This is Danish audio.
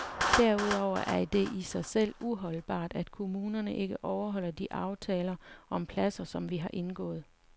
Derudover er det i sig selv uholdbart, at kommunerne ikke overholder de aftaler om pladser, som vi har indgået.